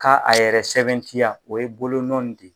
Ka a yɛrɛ sɛbɛntiya o ye bolo nɔ in de.